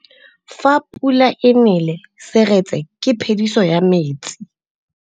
Fa pula e nelê serêtsê ke phêdisô ya metsi.